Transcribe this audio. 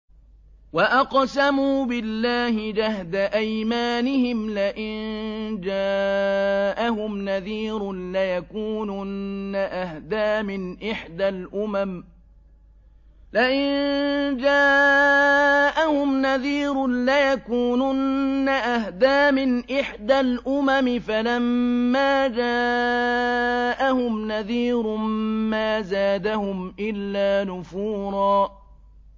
وَأَقْسَمُوا بِاللَّهِ جَهْدَ أَيْمَانِهِمْ لَئِن جَاءَهُمْ نَذِيرٌ لَّيَكُونُنَّ أَهْدَىٰ مِنْ إِحْدَى الْأُمَمِ ۖ فَلَمَّا جَاءَهُمْ نَذِيرٌ مَّا زَادَهُمْ إِلَّا نُفُورًا